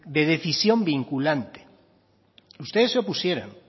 de decisión vinculante ustedes se opusieron